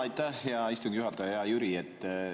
Aitäh, hea istungi juhataja, hea Jüri!